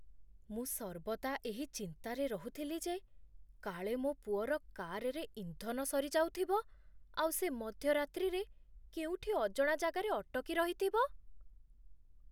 ମୁଁ ସର୍ବଦା ଏହି ଚିନ୍ତାରେ ରହୁଥିଲି ଯେ କାଳେ ମୋ ପୁଅର କାର୍‌ରେ ଇନ୍ଧନ ସରିଯାଉଥିବ, ଆଉ ସେ ମଧ୍ୟରାତ୍ରିରେ କେଉଁଠି ଅଜଣା ଜାଗାରେ ଅଟକି ରହିଥିବ!